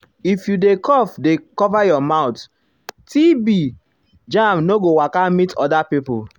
if you dey cough dey cover your mouth tb germ no go waka meet other pipo.